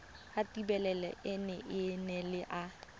ya thelebi ene e neela